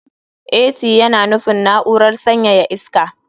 Ac yana nufin na'urar sanyaya iska.